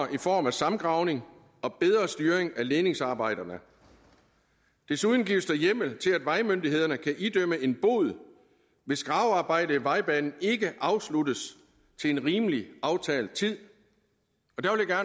i form af samgravning og bedre styring af ledningsarbejderne desuden gives der hjemmel til at vejmyndighederne kan idømme en bod hvis gravearbejdet i vejbanen ikke afsluttes til en rimelig aftalt tid